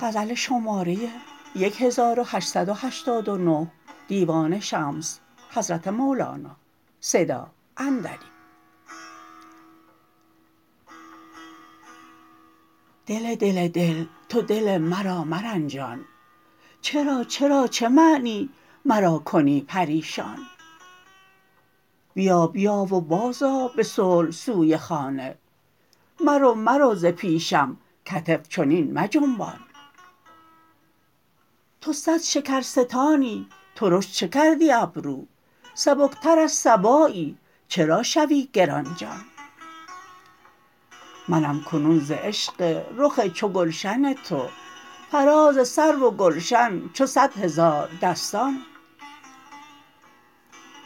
دل دل دل تو دل مرا مرنجان چرا چرا چه معنی مرا کنی پریشان بیا بیا و بازآ به صلح سوی خانه مرو مرو ز پیشم کتف چنین مجنبان تو صد شکرستانی ترش چه کردی ابرو سبکتر از صبایی چرا شوی گران جان منم کنون ز عشق رخ چو گلشن تو فراز سرو و گلشن چو صد هزاردستان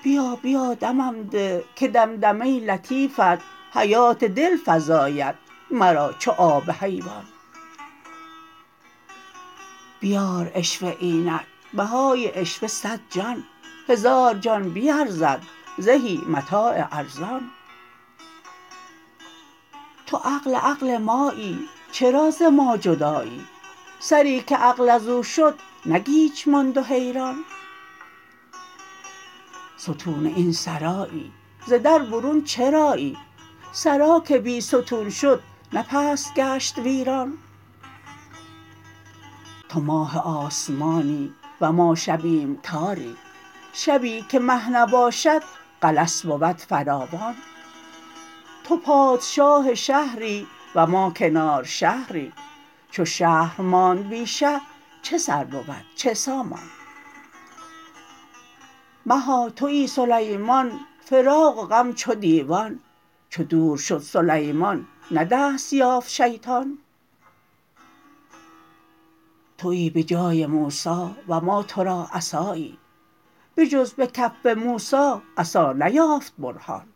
بیا بیا دمم ده که دمدمه لطیفت حیات دل فزاید مرا چو آب حیوان بیار عشوه اینک بهای عشوه صد جان هزار جان به ارزد زهی متاع ارزان تو عقل عقل مایی چرا ز ما جدایی سری که عقل از او شد نه گیج ماند و حیران ستون این سرایی ز در برون چرایی سرا که بی ستون شد نه پست گشت ویران تو ماه آسمانی و ما شبیم تاری شبی که مه نباشد غلس بود فراوان تو پادشاه شهری و ما کنار شهری چو شهر ماند بی شه چه سر بود چه سامان مها توی سلیمان فراق و غم چو دیوان چو دور شد سلیمان نه دست یافت شیطان توی به جای موسی و ما تو را عصایی بجز به کف موسی عصا نیافت برهان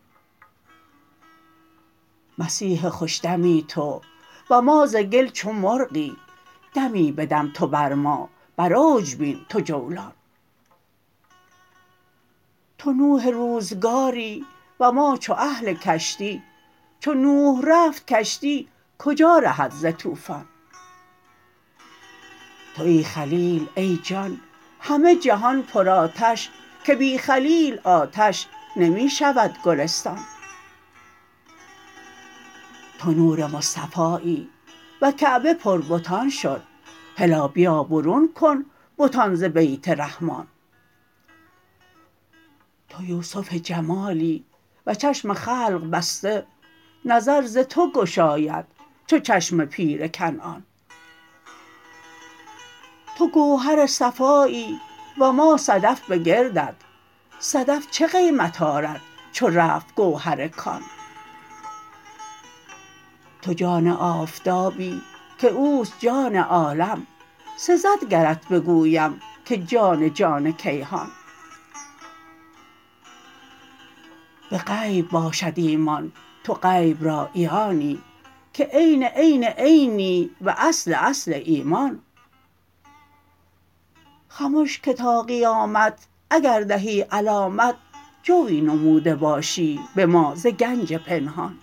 مسیح خوش دمی تو و ما ز گل چو مرغی دمی بدم تو بر ما بر اوج بین تو جولان تو نوح روزگاری و ما چو اهل کشتی چو نوح رفت کشتی کجا رهد ز طوفان توی خلیل ای جان همه جهان پرآتش که بی خلیل آتش نمی شود گلستان تو نور مصطفایی و کعبه پربتان شد هلا بیا برون کن بتان ز بیت رحمان تو یوسف جمالی و چشم خلق بسته نظر ز تو گشاید چو چشم پیر کنعان تو گوهر صفایی و ما صدف به گردت صدف چه قیمت آرد چو رفت گوهر کان تو جان آفتابی که او است جان عالم سزد گرت بگویم که جان جان کیهان به غیب باشد ایمان تو غیب را عیانی که عین عین عینی و اصل اصل ایمان خمش که تا قیامت اگر دهی علامت جوی نموده باشی به ما ز گنج پنهان